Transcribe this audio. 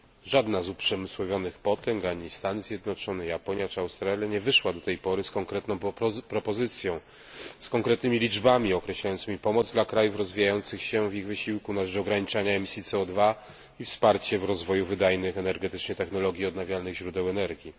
Żadna z uprzemysłowionych potęg ani Stany Zjednoczone, Japonia czy Australia nie wyszła do tej pory z konkretną propozycją, z konkretnymi liczbami określającymi pomoc dla krajów rozwijających się w ich wysiłku na rzecz ograniczania emisji CO i wsparcie w rozwoju wydajnych energetycznie technologii odnawialnych źródeł energii.